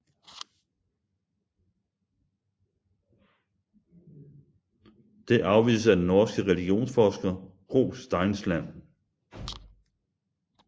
Det afvises af den norske religionsforsker Gro Steinsland